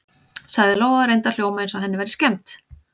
sagði Lóa og reyndi að hljóma eins og henni væri skemmt.